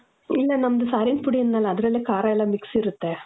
ಇಲ್ಲ, ನಮ್ದು ಸಾರಿನ್ ಪುಡಿ ಅಂದ್ನಲ್ಲ, ಅದರಲ್ಲೇ ಖಾರ ಎಲ್ಲ mix ಇರುತ್ತೆ.